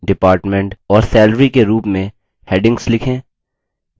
spoken tutorials का उपयोग करके कार्यशालाएँ भी चलाते हैं